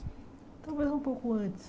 Talvez um pouco antes.